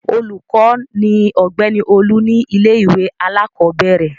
Olùkọ́ ni Ọ̀gbẹ́ni Olú ní ilé-ìwé alákọ̀ọ́bẹ̀rẹ̀.